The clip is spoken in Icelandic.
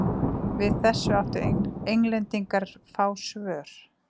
Við þessu áttu Englendingar fá svör.